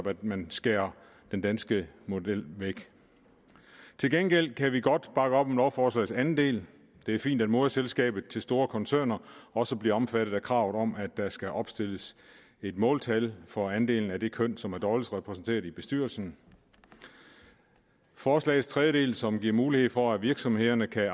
at man skærer den danske model væk til gengæld kan vi godt bakke op om lovforslagets anden del det er fint at moderselskabet til store koncerner også bliver omfattet af kravet om at der skal opstilles et måltal for andelen af det køn som er dårligst repræsenteret i bestyrelsen forslagets tredje del som giver mulighed for at virksomhederne kan